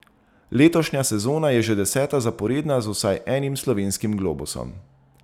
Letošnja sezona je že deseta zaporedna z vsaj enim slovenskim globusom.